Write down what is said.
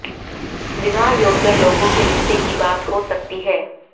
विवाह योग्य लोगों के रिश्ते की बात हो सकती है